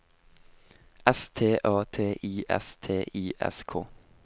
S T A T I S T I S K